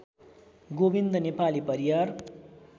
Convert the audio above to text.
Govind Nepali Pariyar